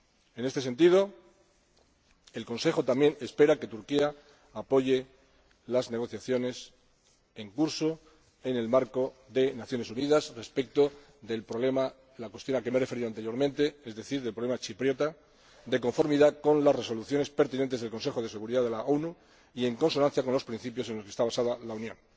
En este sentido, el Consejo también espera que Turquía apoye las negociaciones en curso en el marco de las Naciones Unidas respecto de la cuestión a que me he referido anteriormente, es decir, el problema chipriota, de conformidad con las resoluciones pertinentes del Consejo de Seguridad de la ONU y en consonancia con los principios en los que está basada la Unión.